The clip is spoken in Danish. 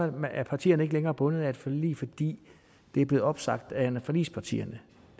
er partierne ikke længere bundet af et forlig fordi det er blevet opsagt af forligspartierne